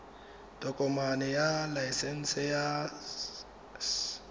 tokomane ya laesense ya s